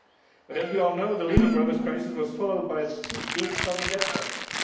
But, as we all know, the Lehman Brothers crisis was followed by a deep sovereign debt crisis.